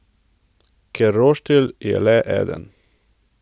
Ker roštilj je le eden.